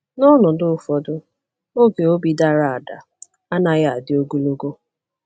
N’ọnọdụ ụfọdụ, oge obi dara ada anaghị adị ogologo.